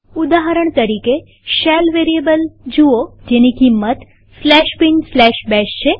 ઉદાહરણ તરીકેશેલ વેરીએબલને જુઓ જેની કિંમત bin bash છે